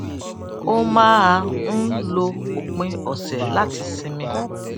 ó máa ń lo òpin òsè láti sinmi